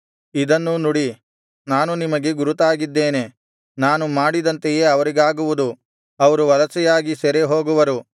ಇದನ್ನೂ ನುಡಿ ನಾನು ನಿಮಗೆ ಗುರುತಾಗಿದ್ದೇನೆ ನಾನು ಮಾಡಿದಂತೆಯೇ ಅವರಿಗಾಗುವುದು ಅವರು ವಲಸೆಯಾಗಿ ಸೆರೆ ಹೋಗುವರು